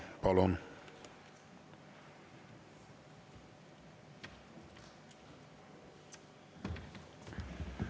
Palun!